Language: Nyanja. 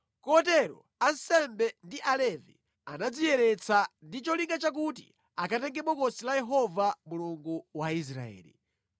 Kotero ansembe ndi Alevi anadziyeretsa ndi cholinga chakuti akatenge Bokosi la Yehova Mulungu wa Israeli.